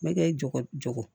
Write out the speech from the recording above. Me kɛ jɔgo